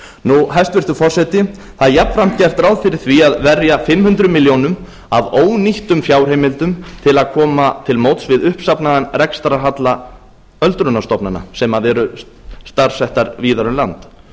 nú hæstvirtur forseti það er jafnframt gert ráð fyrir því að verja fimm hundruð milljóna af ónýttum fjárheimildum til að koma til móts við uppsafnaðan rekstrarhalla öldrunarstofnana sem eru staðsettar víða um land